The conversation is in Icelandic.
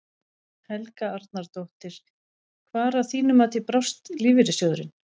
Helga Arnardóttir: Hvar að þínu mati brást lífeyrissjóðurinn?